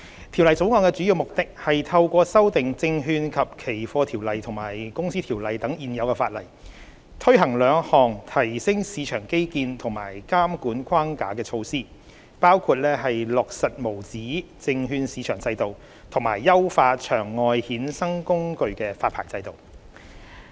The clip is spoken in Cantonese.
《條例草案》的主要目的，是透過修訂《證券及期貨條例》和《公司條例》等的現有法例，推行兩項提升市場基建及監管框架的措施，包括落實無紙證券市場制度，以及優化場外衍生工具發牌制度。